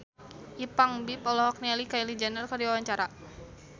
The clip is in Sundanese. Ipank BIP olohok ningali Kylie Jenner keur diwawancara